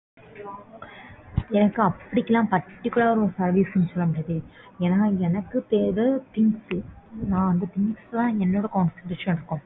எனக்கு அப்படிகிலாம் particular ஆ ஒரு service லாம் தெரியாது ஏன்னா எனக்கு தேவை things நான் things ல தான் என்னோட concentration இருக்கும்.